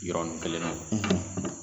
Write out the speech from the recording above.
Yɔrɔnin kelen na